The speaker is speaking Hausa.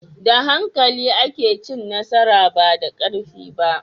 Da hankali ake cin nasara, ba da karfi ba.